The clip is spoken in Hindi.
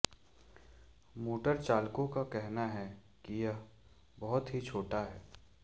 मोटर चालकों का कहना है कि यह बहुत ही छोटा है